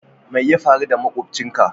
Mai ya faru da makobcin ka?